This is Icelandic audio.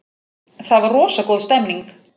Það var rosa góð stemning.